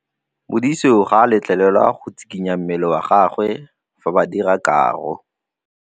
Modise ga a letlelelwa go tshikinya mmele wa gagwe fa ba dira karô.